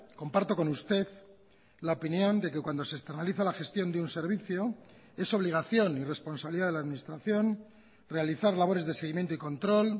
comparto con usted la opinión de que cuando se externaliza la gestión de un servicio es obligación y responsabilidad de la administración realizar labores de seguimiento y control